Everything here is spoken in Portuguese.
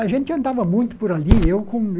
A gente andava muito por ali. Eu com